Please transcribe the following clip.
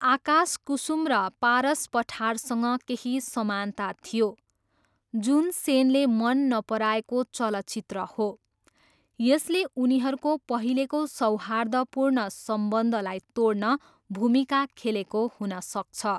आकाश कुसुम र पारस पठारसँग केही समानता थियो, जुन सेनले मन नपराएको चलचित्र हो, यसले उनीहरूको पहिलेको सौहार्दपूर्ण सम्बन्धलाई तोड्न भूमिका खेलेको हुन सक्छ।